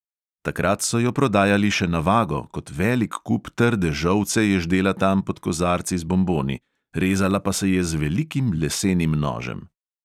Takrat so jo prodajali še na vago, kot velik kup trde žolce je ždela tam pod kozarci z bonboni, rezala pa se je z velikim lesenim nožem.